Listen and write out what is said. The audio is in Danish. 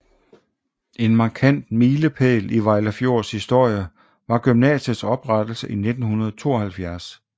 En markant milepæl i Vejlefjords historie var gymnasiets oprettelse i 1972